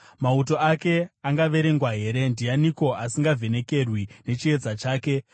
Mauto ake angaverengwa here? Ndianiko asingavhenekerwi nechiedza chake?